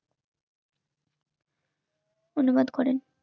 অনুবাদ করেন